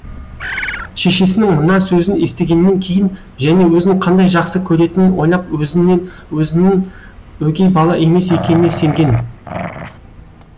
шешесінің мына сөзін естігеннен кейін және өзін қандай жақсы көретінін ойлап өзінін өгей бала емес екеніне сенген